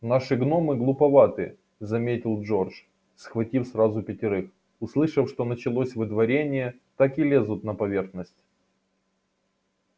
наши гномы глуповаты заметил джордж схватив сразу пятерых услышав что началось выдворение так и лезут на поверхность